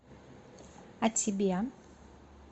а тебе